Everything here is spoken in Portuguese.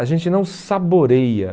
a gente não saboreia.